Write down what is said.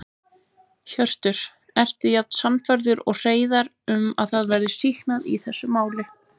Hjörtur: Ertu jafn sannfærður og Hreiðar um að það verði sýknað í þessu máli?